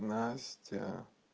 настя